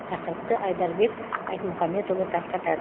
тақырыпты айдарбек айтмұхамбетұлы тарқатады